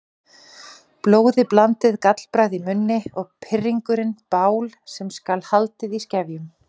Blóðiblandið gallbragð í munni og pirringurinn bál sem skal haldið í skefjum.